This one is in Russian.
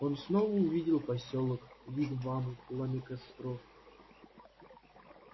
он снова увидел посёлок вигвамы пламя костров